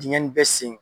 Dingɛnni bɛɛ sen